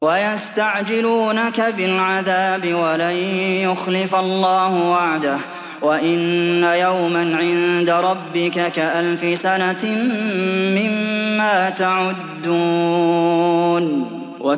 وَيَسْتَعْجِلُونَكَ بِالْعَذَابِ وَلَن يُخْلِفَ اللَّهُ وَعْدَهُ ۚ وَإِنَّ يَوْمًا عِندَ رَبِّكَ كَأَلْفِ سَنَةٍ مِّمَّا تَعُدُّونَ